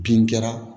Bin kɛra